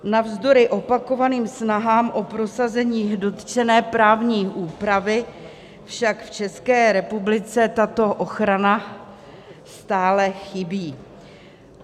Navzdory opakovaným snahám o prosazení dotčené právní úpravy však v České republice tato ochrana stále chybí.